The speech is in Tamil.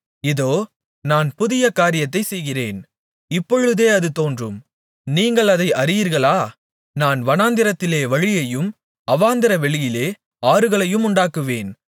இதோ நான் புதிய காரியத்தைச் செய்கிறேன் இப்பொழுதே அது தோன்றும் நீங்கள் அதை அறியீர்களா நான் வனாந்திரத்திலே வழியையும் அவாந்தரவெளியிலே ஆறுகளையும் உண்டாக்குவேன்